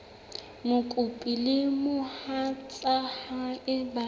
mokopi le mohatsa hae ba